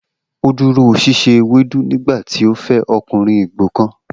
O duro sise ewedu nigbati o fe okunrin igbo kan